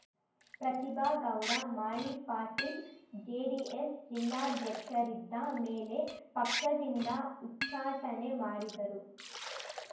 Pratibha Gowda Malipatil JDS ಜಿಲ್ಲಾಧ್ಯಕ್ಷರಿದ್ದ ಮೇಲೆ ಪಕ್ಷದಿಂದ ಉಚ್ಚಾಟನೆ ಮಾಡಿದ್ದರು